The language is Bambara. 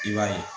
I b'a ye